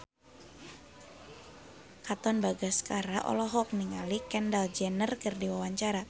Katon Bagaskara olohok ningali Kendall Jenner keur diwawancara